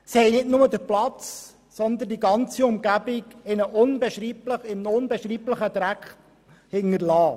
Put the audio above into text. sie haben nicht nur den Platz, sondern die ganze Umgebung in einem unbeschreiblichen Dreck zurückgelassen.